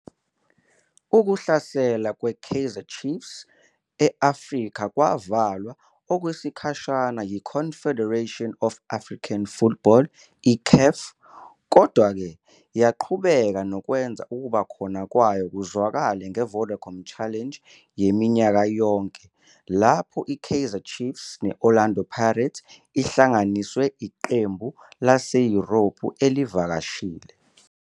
Ukuhlasela kwe-Kaizer Chiefs e-Afrika kwavalwa okwesikhashana yi-Confederation of African Football, CAF. Kodwa-ke, yaqhubeka nokwenza ukuba khona kwayo kuzwakale nge-Vodacom Challenge yaminyaka yonke lapho i-"Kaizer Chiefs" ne-"Orlando Pirates" ihlanganiswe Iqembu laseYurophu elivakashile.